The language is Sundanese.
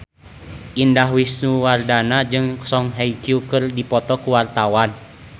Indah Wisnuwardana jeung Song Hye Kyo keur dipoto ku wartawan